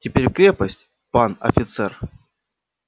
теперь в крепость пан офицер